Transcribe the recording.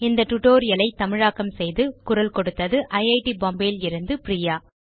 இந்த tutorial ஐ தமிழாக்கம் செய்து குரல் கொடுத்தது ஐட் பாம்பே லிருந்து பிரியா